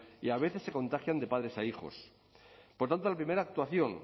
y a veces se contagian de padres a hijos por tanto la primera actuación